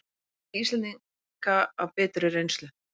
Það þekki Íslendingar af biturri reynslu